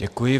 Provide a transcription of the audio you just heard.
Děkuji.